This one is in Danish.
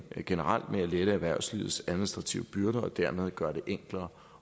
generelt med at lette erhvervslivets administrative byrder og dermed gøre det enklere